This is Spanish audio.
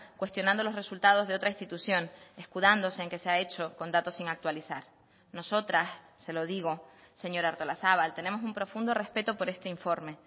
cuestionando los resultados de otra institución escudándose en que se ha hecho con datos sin actualizar nosotras se lo digo señora artolazabal tenemos un profundo respeto por este informe